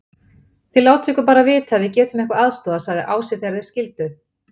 Þið látið okkur bara vita ef við getum eitthvað aðstoðað, sagði Ási þegar þeir skildu.